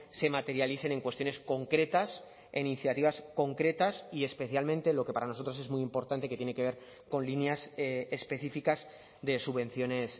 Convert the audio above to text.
se materialicen en cuestiones concretas e iniciativas concretas y especialmente lo que para nosotros es muy importante que tiene que ver con líneas específicas de subvenciones